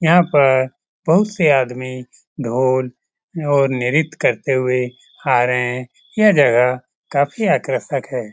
यहाँ पर बहुत से आदमी ढोल और निर्यता करते हुए आ रहे हैये जगह काफी आकर्षक है ।